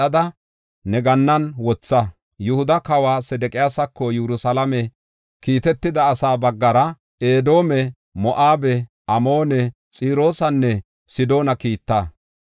Yihuda kawa Sedeqiyaasako Yerusalaame kiitetida asaa baggara, Edoome, Moo7abe, Amoone, Xiroosanne Sidoona kiitta.